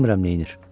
Bilmirəm nə edir.